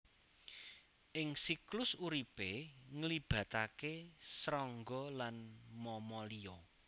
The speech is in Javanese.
Ing siklus uripé nglibataké srangga lan mamalia